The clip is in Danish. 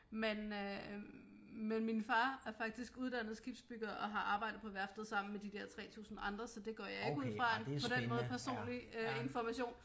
Men øh men min far er faktisk uddannet skibsbygger og har arbejdet på værftet sammen med de dér 3000 andre så det går jeg ikke ud fra på den måde øh personlig information